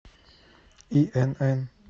инн